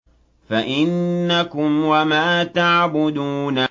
فَإِنَّكُمْ وَمَا تَعْبُدُونَ